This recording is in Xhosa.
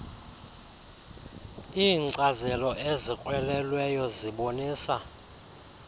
iinkcazelo ezikrwelelweyo zibonisa